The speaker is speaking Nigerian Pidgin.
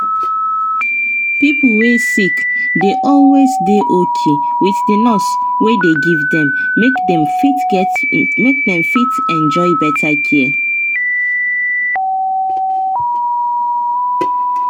pipo wey sick dey always dey okay with the nurse wey dey give them make them fit enjoy better care.